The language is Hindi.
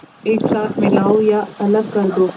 एक साथ मिलाओ या अलग कर दो